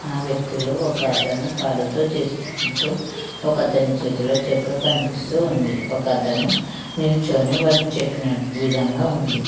ఆ వ్యక్తులు ఒకతను పాలతో చేసుకుంటూ ఒకతని చేతిలో చెక్క కనిపిస్తుంది ఉంది ఒకతను నిల్చుని వర్క్ చెప్పినట్టు విధంగా ఉంది.